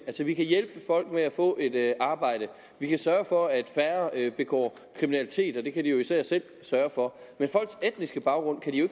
vi kan hjælpe folk til at få et arbejde vi kan sørge for at færre begår kriminalitet og det kan de jo især selv sørge for men folks etniske baggrund kan de jo